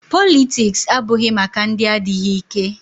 Politiks abụghị maka ndị adịghị ike.